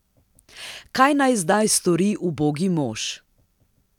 Kaj naj zdaj stori ubogi mož?